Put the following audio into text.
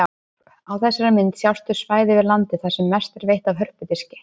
Á þessari mynd sjást þau svæði við landið þar sem mest er veitt af hörpudiski.